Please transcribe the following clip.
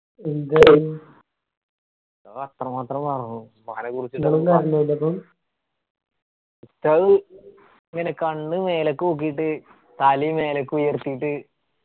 ഉസ്താദ് ഇങ്ങനെ കണ്ണ് മേലേക്കോക്കിയിട്ട് തലയും മേലേക്ക് ഉയർത്തിയിട്ട്